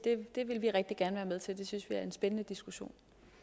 det vil vi rigtig gerne være med til det synes vi er en spændende diskussion